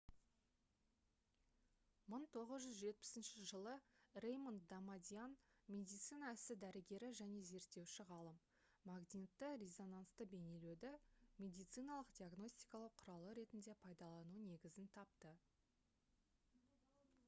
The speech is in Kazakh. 1970 жылы рэймонд дамадиан медицина ісі дәрігері және зерттеуші ғалым магнитті-резонансты бейнелеуді медициналық диагностикалау құралы ретінде пайдалану негізін тапты